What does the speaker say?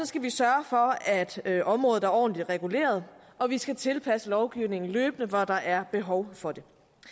skal vi sørge for at området er ordentligt reguleret og vi skal tilpasse lovgivningen løbende hvor der er behov for det